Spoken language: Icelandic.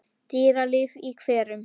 Dýralíf í hverum